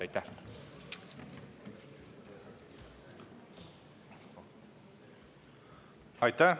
Aitäh!